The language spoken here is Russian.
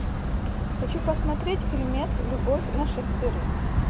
хочу посмотреть фильмец любовь на шестерых